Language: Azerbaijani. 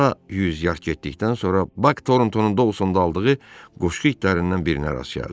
Daha yüz yard getdikdən sonra Bak Torontonun qutusunda aldığı quşqu itlərindən birinə rast gəldi.